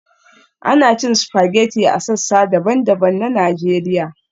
Ana cin spaghetti a sassa daban-daban na Najeriya